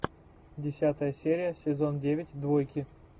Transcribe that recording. десятая серия сезон девять двойки